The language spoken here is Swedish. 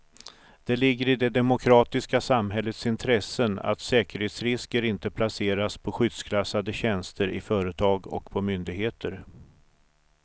Det ligger i det demokratiska samhällets intresse att säkerhetsrisker inte placeras på skyddsklassade tjänster i företag och på myndigheter.